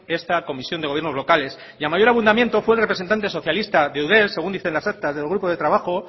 esta comisión de gobierno locales y a mayor abundamiento fue el representante socialista de eudel según dicen las actas del grupo de trabajo